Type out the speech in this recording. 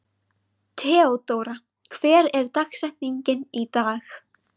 Theódóra, hver er dagsetningin í dag?